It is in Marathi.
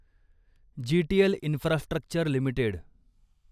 GTL infrastructure limited